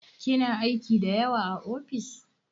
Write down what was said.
Kina aiki da yawa a ofis?